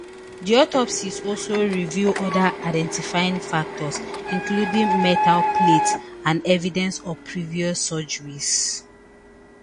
di autopsies also reveal oda identifying factors including metal plates and evidence of previous surgeries